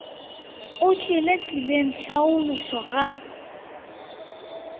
o tšwele tseleng tlhalošo ga